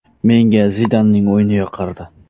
Menga Zidanning o‘yini yoqardi.